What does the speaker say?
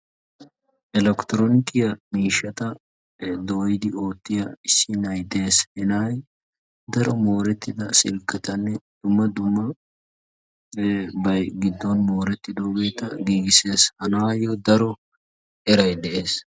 Elekiteroonikiyaa miishshata dooyidi oottiyaa issi na'ay de'ees. He na'ay daro morettida silkketanne dumma dummabay giddon morettidaageeta giigissees. Ha na'aayo daro eray de'ees.